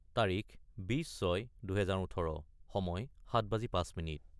: তাৰিখ 20-06-2018 : সময় 1905